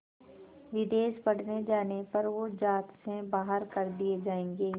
विदेश पढ़ने जाने पर वो ज़ात से बाहर कर दिए जाएंगे